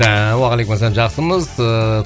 уағалейкумассалам жақсымыз ыыы